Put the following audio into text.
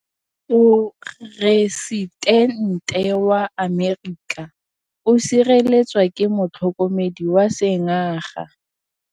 Poresitêntê wa Amerika o sireletswa ke motlhokomedi wa sengaga.